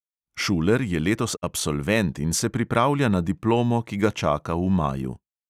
Šuler je letos absolvent in se pripravlja na diplomo, ki ga čaka v maju.